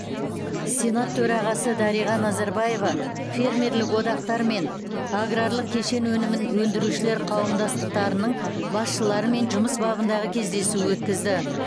сенат төрағасы дариға назарбаева фермерлік одақтар мен аграрлық кешен өнімін өндірушілер қауымдастықтарының басшыларымен жұмыс бабындағы кездесу өткізді